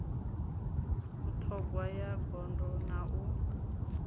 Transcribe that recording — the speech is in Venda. vhuṱhogwa ya gondo na u